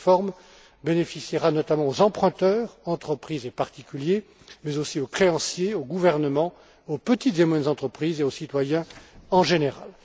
Cette réforme bénéficiera notamment aux emprunteurs, entreprises et particuliers, mais aussi aux créanciers, aux gouvernements, aux petites et moyennes entreprises et aux citoyens en général.